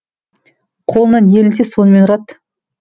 қолына не ілінсе сонымен ұрады